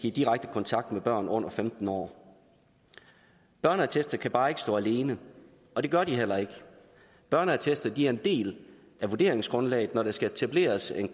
i direkte kontakt med børn under femten år børneattester kan bare ikke stå alene og det gør de heller ikke børneattester er en del af vurderingsgrundlaget når der skal etableres en